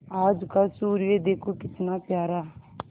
आज का सूर्य देखो कितना प्यारा